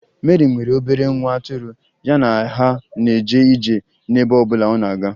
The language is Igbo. Meri nwere obere nwa atụrụ, ya na ha na-eje ije n'ebe ọ bụla ọ na-aga